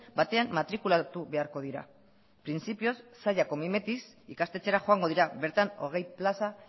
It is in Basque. batean matrikulatu beharko dira printzipioz zallako mimetiz ikastetxera joango dira bertan hogei plaza